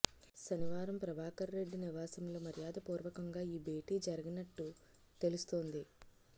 శనివారం ప్రభాకర్రెడ్డి నివాసంలో మర్యాద పూర్వకంగా ఈ భేటీ జరిగినట్టు తెలుస్తోంది